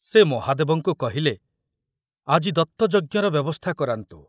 ସେ ମହାଦେବଙ୍କୁ କହିଲେ, ଆଜି ଦତ୍ତଯଜ୍ଞର ବ୍ୟବସ୍ଥା କରାନ୍ତୁ।